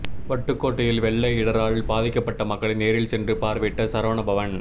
வட்டுக்கோட்டையில் வெள்ள இடரால் பாதிக்கப்பட்ட மக்களை நேரில் சென்று பார்வையிட்ட சரவணபவன்